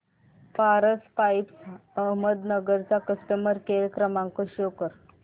Paras pipes Ahmednagar चा customer care क्रमांक show करा